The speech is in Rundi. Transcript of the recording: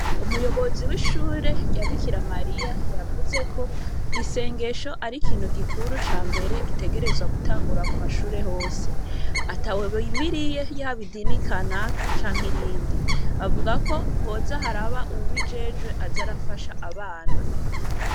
Umuyobozi w’ishure rya Bikira Mariya, yavuze ko isengesho ari ikintu gikuru ca mbere, gitegerezwa gutangura mu mashure hose; atawe bimiriye, yaba idini kanaka canke irindi; avuga ko hoza haraba uwubijejwe aza arafasha abana.